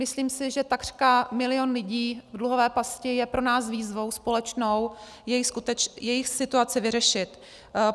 Myslím si, že takřka milion lidí v dluhové pasti je pro nás výzvou společnou jejich situaci vyřešit.